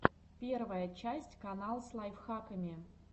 первая часть канал с лайфхаками